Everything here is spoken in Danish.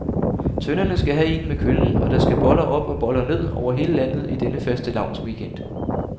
Tønderne skal have en med køllen, og der skal boller op og boller ned over hele landet i denne fastelavnsweekend.